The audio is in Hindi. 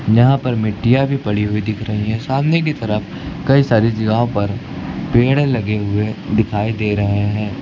यहां पर मिट्टियां भी पड़ी हुई दिख रही है सामने की तरफ कई सारी जगहो पर पेड़ लगे हुए दिखाई दे रहे हैं।